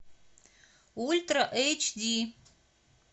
ультра эйч ди